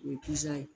O ye ye